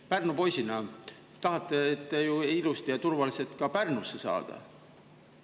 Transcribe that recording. Pärnu poisina tahate te ju ilusti ja turvaliselt ka Pärnusse saada.